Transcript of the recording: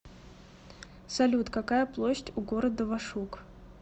салют какая площадь у города вашук